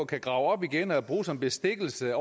kan grave op igen og bruge som bestikkelse